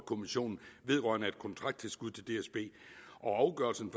kommissionen vedrørende et kontrakttilskud til dsb afgørelsen